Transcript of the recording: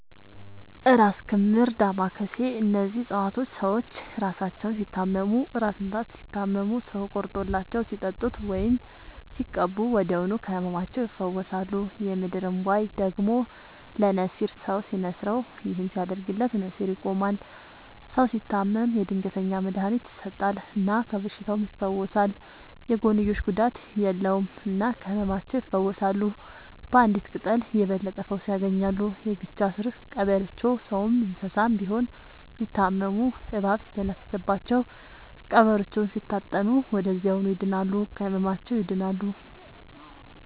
እራስ ክምር ዳማ ከሴ እነዚህ ፅፀዋቶች ሰዎች እራሳቸውን ሲታመሙ እራስ ምታት ሲታመሙ ሰው ቆርጦላቸው ሲጠጡት ወይም ሲቀቡ ወዲያውኑ ከህመማቸው ይፈወሳሉ። የምድር እንቧይ ደግሞ ለነሲር ሰው ሲንስረው ይህን ሲያደርግለት ነሲሩ ይቆማል። ሰው ሲታመም የድንገተኛ መድሀኒት ይሰጠል እና ከበሽታውም ይፈወሳል። የጎንዮሽ ጉዳት የለውም እና ከህመማቸው ይፈውሳሉ ባንዲት ቅጠል የበለጠ ፈውስ ያገኛሉ። የጊቻ ስር ቀበሮቾ ሰውም እንሰሳም ቢሆን ቢታመሙ እባብ ሲተነፍስባቸው ቀብሮቾውን ሲታጠኑ ወደዚያውኑ ይድናሉ። ከህመማቸው ይድናሉ…ተጨማሪ ይመልከቱ